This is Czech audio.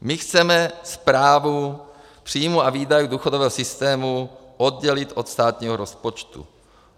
My chceme správu příjmů a výdajů důchodového systému oddělit od státního rozpočtu.